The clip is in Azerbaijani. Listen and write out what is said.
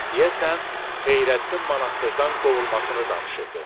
Deyəsən Xeyrəddin monastırdan qovulmasını danışırdı.